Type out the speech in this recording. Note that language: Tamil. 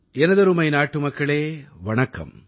எனதருமை நாட்டுமக்களே வணக்கம்